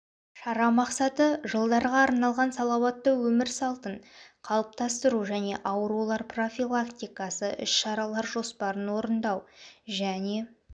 шара мақсаты жылдарға арналған салауатты өмір салтын қалыптастыру және аурулар профилактикасы іс-шаралар жоспарын орындау және